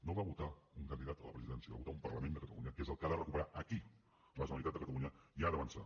no va votar un candidat a la presidència va votar un parlament de catalunya que és el que ha de recuperar aquí la generalitat i ha d’avançar